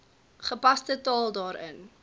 gepaste taal daarin